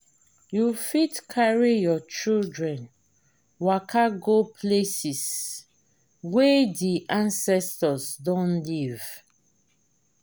you fit carry your children waka go places wey di ancestor don live